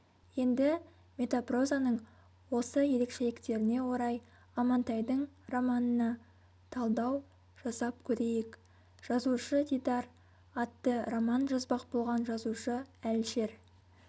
енді метапрозаның осы ерекшеліктеріне орай амантайдың романына талдау жасап көрейік жазушы-дидар атты роман жазбақ болған жазушы-әлішер